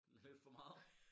Lidt for meget